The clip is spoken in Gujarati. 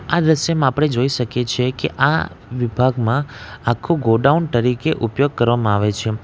આ દ્રશ્યમાં આપણે જોઈ શકીએ છીએ કે આ વિભાગમાં આખું ગોડાઉન ટરીકે ઉપયોગ કરવામાં આવે છે.